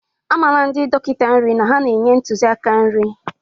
Amarala ndi dọkịta nri na ha na-enye ntụzịaka nri.